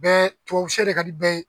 Bɛɛ tubabu sɛ de ka di bɛɛ ye